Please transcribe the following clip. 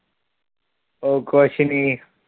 ਉਹ ਕੁਛ ਨਹੀਂ।